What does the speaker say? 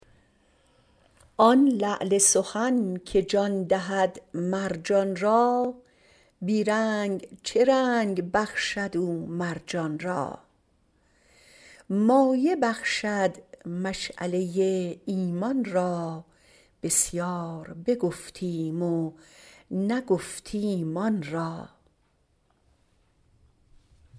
آن لعل سخن که جان دهد مرجان را بی رنگ چه رنگ بخشد او مر جان را مایه بخشد مشعله ایمان را بسیار بگفتیم و نگفتیم آن را